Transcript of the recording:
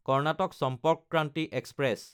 Karnataka Sampark Kranti express